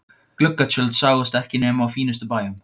Gluggatjöld sáust ekki nema á fínustu bæjum.